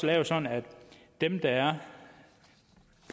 lavet sådan at dem der er